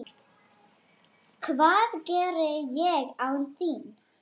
Hvað geri ég án þín?